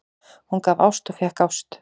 Hann gaf ást og fékk ást.